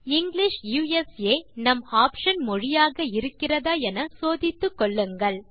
English USA நம் option மொழியாக இருக்கிறதா என சோதித்துக்கொள்ளுங்கள்